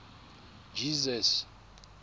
jesus